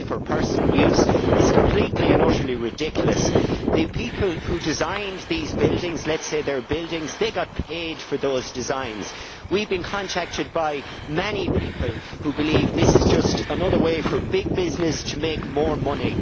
personal use, is completely and utterly ridiculous. The people who designed these buildings let us say they are buildings got paid for those designs. We have been contacted by many people who believe this is just another way for big business to make more money.